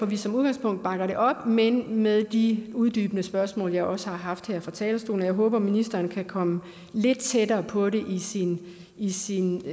vi som udgangspunkt bakker det op men med de uddybende spørgsmål jeg også har stillet her fra talerstolen jeg håber at ministeren kan komme lidt tættere på det i sin